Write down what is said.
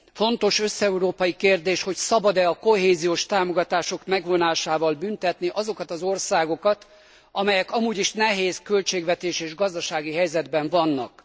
Fontos összeurópai kérdés, hogy szabad e a kohéziós támogatások megvonásával büntetni azokat az országokat, amelyek amúgy is nehéz költségvetési és gazdasági helyzetben vannak.